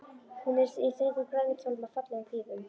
Hún er í þröngum, grænum kjól með fallegum pífum.